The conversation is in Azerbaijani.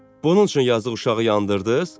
Bunun üçün yazıq uşağı yandırdınız?